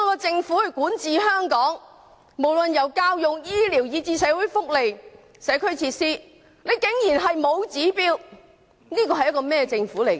政府管治香港，卻無論是教育、醫療以至社會福利和社區設施均完全沒有標準，這是個怎樣的政府呢？